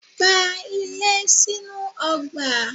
Gba ilé sínú ọgbà